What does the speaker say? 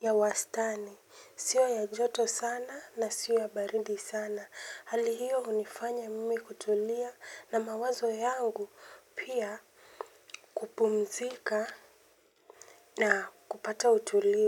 ya wastani, siyo ya joto sana na siyo ya baridi sana. Hali hiyo hunifanya mimi kutulia na mawazo yangu pia kupumzika na kupata utulivu.